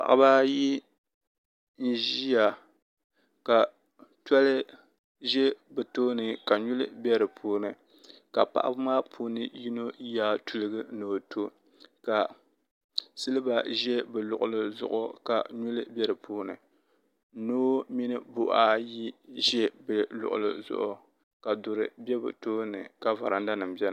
paɣaba ayi n-ʒiya ka tɔli ʒe bɛ tooni ka nyuli be di puuni ka paɣaba maa puuni yino yaai tuligu ni o tɔ ka siliba ʒe bɛ luɣili zuɣu ka nyuli be di puuni noo mini buhi ayi ʒe bɛ luɣili zuɣu ka duri be bɛ tooni ka varadanima beni.